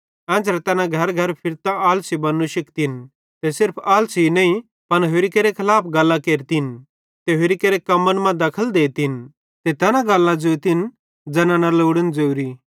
एन्च़रे तैना घरेघरे फिरतां आलसी भोनू शिखतिन ते सिर्फ आलसी नईं पन होरि केरे खलाफ गल्लां केरतिन ते होरि केरे कम्मन मां दखल देतिन ते तैना गल्लां ज़ोतिन ज़ैना न लोड़न ज़ोरी